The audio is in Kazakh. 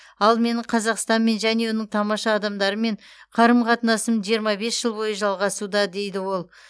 ал менің қазақстанмен және оның тамаша адамдарымен қарым қатынасым жиырма бес жыл бойы жалғасуда дейді ол